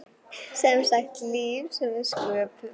Semsagt líf sem við sköpum.